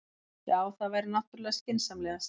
Já, það væri náttúrlega skynsamlegast.